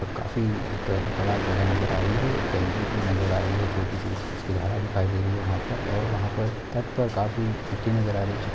काफी एक बड़ा जगह नजर आ रही है नजर आ रही है छोटी सी उसकी धार दिखाई दे रही है वहां पर और वहां पर तट पर काफी नजर आ रही है।